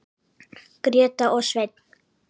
Gréta og Sveinn.